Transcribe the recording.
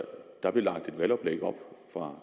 for